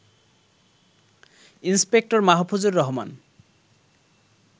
inspector Mahfuzur Rahman